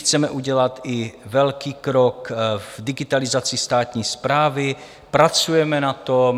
Chceme udělat velký krok i v digitalizaci státní správy, pracujeme na tom.